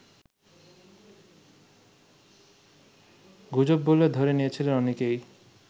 গুজব বলে ধরে নিয়েছিলেন অনেকেই